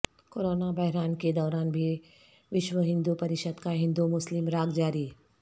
corona بحران کے دوران بھی وشو ہندو پریشد کا ہندومسلم راگ جاری